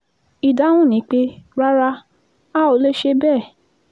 ìdáhùn ni pé rárá a ò lè ṣe bẹ́ẹ̀